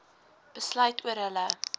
besluit oor hulle